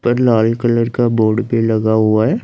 पर लाल कलर का बोर्ड भी लगा हुआ है।